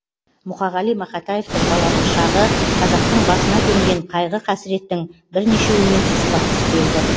мұқағали мақатаевтың балалық шағы қазақтың басына төнген қайғы қасіреттің бірнешеуімен тұспа тұс келді